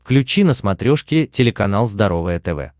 включи на смотрешке телеканал здоровое тв